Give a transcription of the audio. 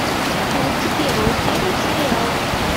найти первую серию сериала